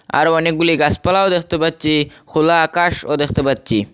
আরো অনেকগুলি গাসপালাও দেখতে পাচ্চি খোলা আকাশও দেখতে পাচ্চি।